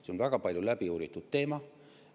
See on väga palju läbi uuritud teema.